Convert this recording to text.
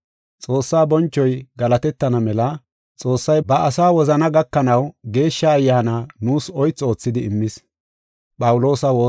Xoossaa bonchoy galatetana mela Xoossay ba asaa wozana gakanaw Geeshsha Ayyaana nuus oythu oothidi immis.